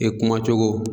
I kuma cogo